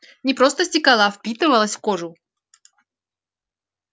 не просто стекала а впитывалась в кожу